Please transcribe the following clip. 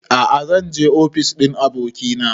A'a zan je ofis ɗin abokina